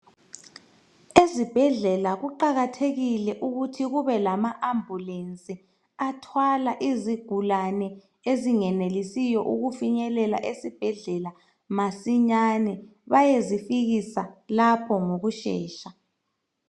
Ezibhedlela kuqakathekile ukuthi kube lama Ambulenzi athwala izigulane ezingenelisiyo ukufinyelela esibhedlela masinyane,. Bayezifikisa lapho ngokushesha.